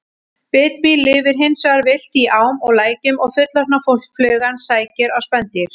Bitmý lifir hins vegar villt í ám og lækjum og fullorðna flugan sækir á spendýr.